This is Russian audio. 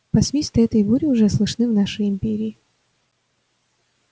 посвисты этой бури уже слышны в нашей империи